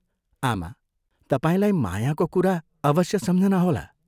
आमा, तपाईंलाई मायाको कुरा अवश्य सम्झना होला।